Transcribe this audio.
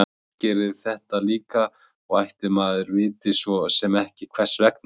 Róbert gerir þetta líka og ætli maður viti svo sem ekki hvers vegna.